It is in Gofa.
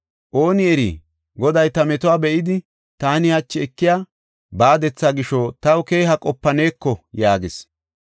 Ooni eri, Goday ta metuwa be7idi, taani hachi ekiya baadetha gisho taw keeha qopaneeko” yaagis.